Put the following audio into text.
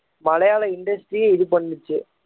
மலையாள industry ஐயே இது பண்ணுச்சு